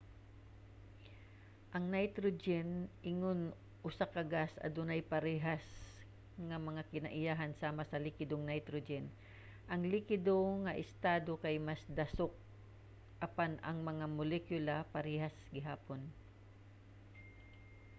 ang nitrogen ingon usa ka gas adunay parehas nga mga kinaiyahan sama sa likidong nitrogen. ang likido nga estado kay mas dasok apan ang mga molekula parehas gihapon